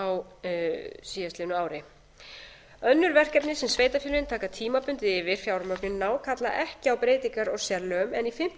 á síðastliðnu ári önnur verkefni sem sveitarfélögin taka tímabundið yfir fjármögnunina á kalla ekki á breytingar á sérlögum en í fimmtu